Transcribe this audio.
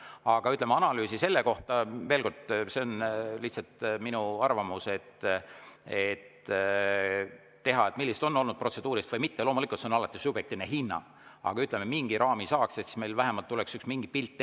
Aga analüüsi tegemine selle kohta – veel kord, see on lihtsalt minu arvamus –, millised on olnud protseduurilised ja millised mitte, loomulikult see on alati subjektiivne hinnang, aga mingi raami saaks paika ja siis meil vähemalt tuleks mingi pilt ette.